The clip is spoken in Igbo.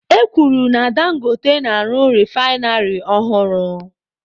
E kwuru na Dangote na-arụ refainarị ọhụrụ.